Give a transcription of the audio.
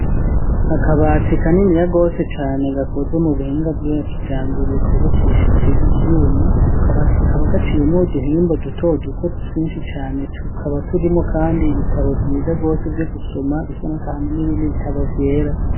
Akabati ka nini ya gose cyane gakoze mu buhinga bw'akija mbere kubakishije ibyuma ako kabatika kaba gaciyemo duhimba duto duto twinshi cyane tukaba turimo kandi ibitabo byiza gose byo gusoma bisana kahame n'ibindi bitabo vyera.